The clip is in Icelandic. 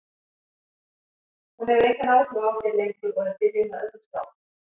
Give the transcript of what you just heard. Hún hefur engan áhuga á þér lengur og er byrjuð með öðrum strák.